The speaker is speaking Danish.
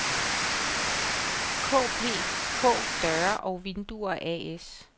KPK Døre og Vinduer A/S